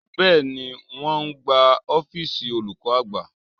Bẹ́ẹ̀ni, wọn ń gbá ọ́fíìsì olùkọ́ àgbà